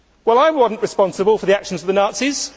I was not responsible for the actions of the Nazis.